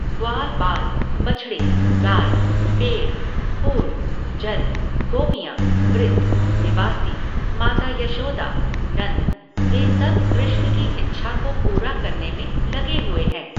ग्वालबाल, बछ़डे, गाय, पेड़, फूल, जल, गोपियँ, वृद्ध, निवासी, माता यशोदा, नन्द, वे सब कृष्ण की इच्छा को पूरा करने में लगे हुए हैं।